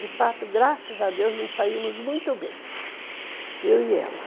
De fato, graças a Deus, nós saímos muito bem, eu e ela.